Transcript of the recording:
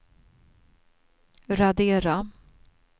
radera